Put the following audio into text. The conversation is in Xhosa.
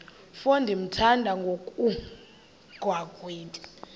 mfo ndimthanda ngokungagwebi